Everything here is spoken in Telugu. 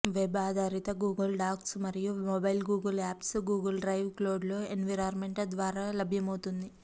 వెబ్ ఆధారిత గూగుల్ డాక్స్ మరియు mobile Google apps Google drive cloud environment ద్వారా లభ్యమవుతుంది